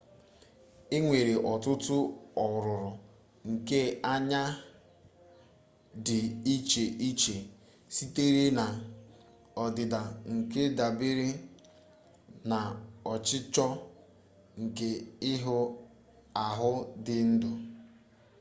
e nwere ọtụtụ ọrụrụ nke anya dị iche iche sitere na ọdịdị nke dabere na ọcịchọ nke ihe ahụ dị ndụ